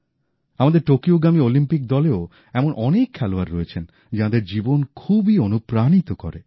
আমাদের টোকিওগামী অলিম্পিক দলেও এমন অনেক খেলোয়াড় রয়েছেন যাঁদের জীবন খুবই অনুপ্রাণিত করে